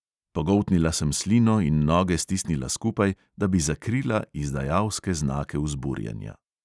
Pogoltnila sem slino in noge stisnila skupaj, da bi skrila izdajalske znake vzburjenja.